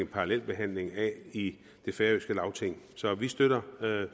parallelbehandling af i det færøske lagting så vi støtter